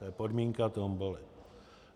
To je podmínka tomboly.